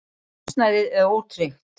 Húsnæðið er ótryggt.